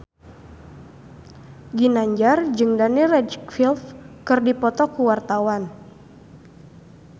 Ginanjar jeung Daniel Radcliffe keur dipoto ku wartawan